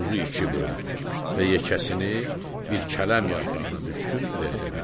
Buzu iki böldü və yekəsini bir kələm yarpağına bükdü, verdi mənə.